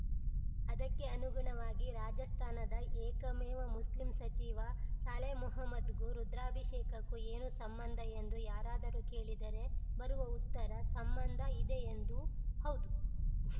ಅದಕ್ಕೆ ಅನುಗುಣವಾಗಿ ರಾಜಸ್ಥಾನದ ಏಕಮೇವ ಮುಸ್ಲಿಂ ಸಚಿವ ಶಾಲೆ ಮೊಹಮ್ಮದ್‌ಗೂ ರುದ್ರಾಭಿಷೇಕಕ್ಕೂ ಏನು ಸಂಬಂಧ ಎಂದು ಯಾರಾದರೂ ಕೇಳಿದರೆ ಬರುವ ಉತ್ತರ ಸಂಬಂಧ ಇದೆಎಂದು ಹೌದು